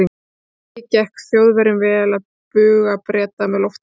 Ekki gekk Þjóðverjum vel að buga Breta með loftárásum.